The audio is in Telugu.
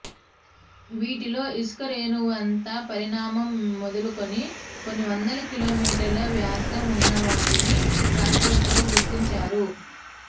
వీటిలో ఇసుకరేణువంత పరిణామం మొదలుకొని కొన్ని వందల కిలోమీటర్ల వ్యాసం ఉన్నవాటినీ శాస్త్రవేత్తలు గుర్తించారు